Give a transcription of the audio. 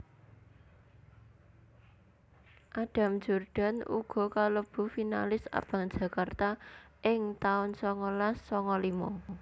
Adam Jordan uga kalebu Finalis Abang Jakarta ing taun songolas songo limo